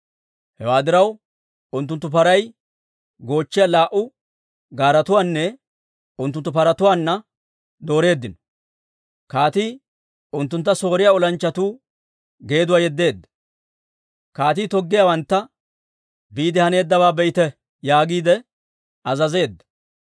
Hewaa diraw, unttunttu paray goochchiyaa laa"u gaaretuwaanne unttunttu paratuwaanne dooreeddino. Kaatii unttuntta Sooriyaa olanchchatuu geeduwaa yeddeedda. Kaatii toggiyaawantta, «Biide haneeddabaa be'ite» yaagiide azazeedda.